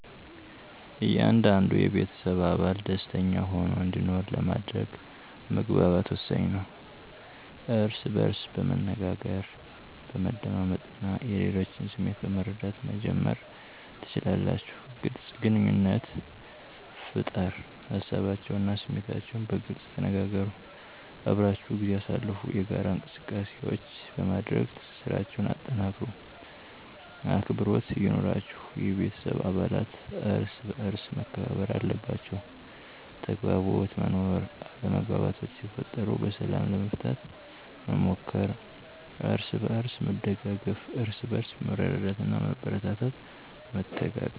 እያንዳንዱ የቤተሰብ አባል ደሰተኛ ሆኖ እንዲኖር ለማድረግ መግባባት ወሳኝ ነው። እርስ በእርስ በመነጋገር፣ በመደማመጥ እና የሌሎችን ስሜት በመረዳት መጀመር ትችላላችሁ። __ግልፅ ግንኙነት ፍጠር ሀሳባቸውን እና ስሜታችሁን በግልፅ ተነጋገሩ። _አብራችሁ ጊዜ አሳልፉ የጋራ እንቅሰቃሴዎች በማድረግ ትስስራቸሁን አጠናክሩ። _አክብሮት ይኑራችሁ የቤተሰብ አባለት እርሰበአርስ መከባበር አለባቸዉ። _ተግባቦት መኖር አለመግባባቶች ሲፈጠሩ በሰላም ለመፍታት መሞከር። አርስበእርስ መደጋገፍ እርስበእርስ በመረዳዳትና በማበረታታት መተጋገዝ።